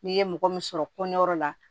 N'i ye mɔgɔ min sɔrɔ kɔnɛyɔrɔ la